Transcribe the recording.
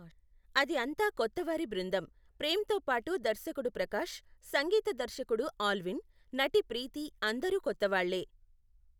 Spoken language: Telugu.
అది అంతా కొత్తవారి బృందం, ప్రేమ్తో పాటు దర్శకుడు ప్రకాష్, సంగీత దర్శకుడు ఆల్విన్, నటి ప్రీతి అందరూ కొత్తవాళ్ళే.